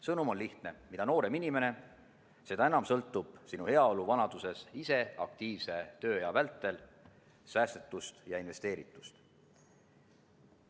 Sõnum on lihtne: mida noorem inimene, seda enam sõltub sinu heaolu vanaduses ise aktiivse tööea vältel säästetust ja investeeritust.